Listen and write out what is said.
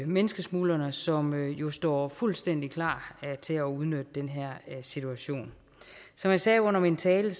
menneskesmuglerne som jo står fuldstændig klar til at udnytte den her situation som jeg sagde under min tale